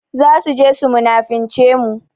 Za su je su munafince mu.